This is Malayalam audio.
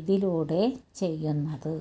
ഇതിലൂടെ ചെയ്യുന്നത്